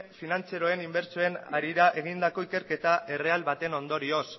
finantziarioen inbertsioen harira egindako ikerketa erreal baten ondorioz